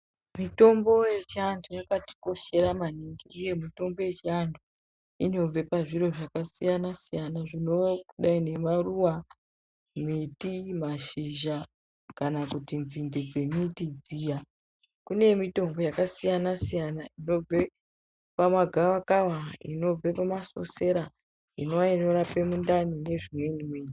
Mitombo yechiantu yakatikoshera maningi. Mitombo yechiantu inobve pazviro zvakasiyana siyana zvinodayi ngemaruva, miti kana mashizha kana kuti nzinde dzemiti dziya. Kune mitombo yakasiyana-siyana inobve pamagavakava, inobve pamasosera inova inorape mundani nezvimweni mweni.